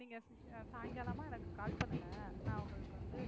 நீங்க சாயங்காலமா எனக்கு call பண்ணுங்க நான் உங்களுக்கு வந்து